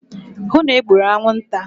hụ na e gburu anwụnta!